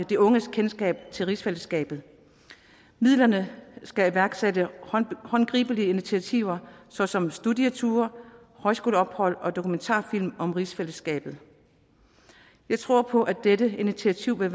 de unges kendskab til rigsfællesskabet midlerne skal iværksætte håndgribelige initiativer såsom studieture højskoleophold og dokumentarfilm om rigsfællesskabet jeg tror på at dette initiativ vil